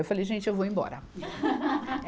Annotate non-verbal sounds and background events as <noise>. Eu falei, gente, eu vou embora. <laughs>